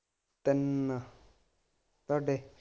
ਤਿੰਨ ਤੁਹਾਡੇ?